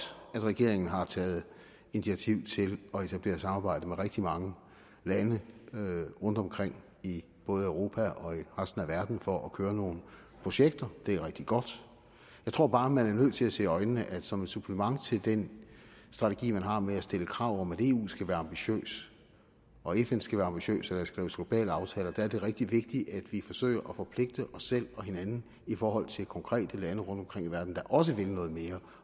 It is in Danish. at regeringen har taget initiativ til at etablere samarbejde med rigtig mange lande rundtomkring i både europa og resten af verden for at køre nogle projekter det er rigtig godt jeg tror bare man er nødt til at se i øjnene at som et supplement til den strategi man har med at stille krav om at eu skal være ambitiøs og fn skal være ambitiøs og skrives globale aftaler er det rigtig vigtigt at vi forsøger at forpligte os selv og hinanden i forhold til konkrete lande rundtomkring i verden der også vil noget mere